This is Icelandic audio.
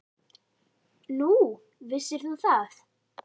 Nú, vissir þú það?